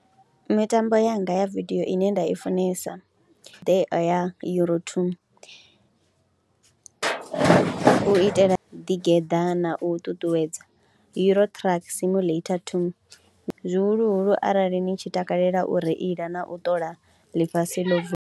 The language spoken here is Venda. Mitambo yanga ya vidio ine nda i funesa ndi ya Euro 2, u itela ḓigeḓa na u ṱuṱuwedza. Euro Truck Simulator 2 zwihuluhulu arali ni tshi takalela u reila na u ṱola ḽifhasi ḽo .